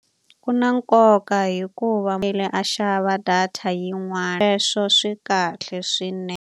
Ku na nkoka hikuva a xava data yin'wana sweswo swi kahle .